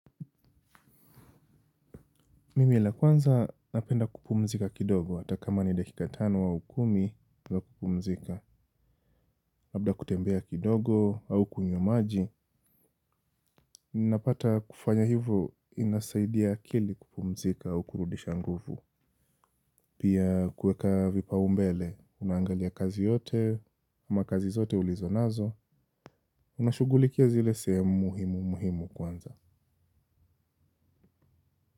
Mimi la kwanza napenda kupumzika kidogo hata kama ni dakika tano au kumi za kupumzika. Labda kutembea kidogo au kunywa maji. Ninapata kufanya hivyo inasaidia akili kupumzika au kurudisha nguvu. Pia kueka vipa umbele unaangalia kazi yote ama kazi zote ulizo nazo. Unashughulikia zile sehemu muhimu muhimu kwanza.